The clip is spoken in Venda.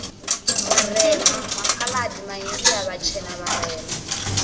vharema makhaladi maindia vhatshena vharema